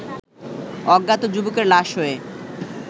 অজ্ঞাত যুবকের লাশ হয়ে